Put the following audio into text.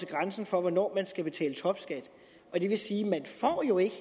grænsen for hvornår der skal betales topskat og det vil sige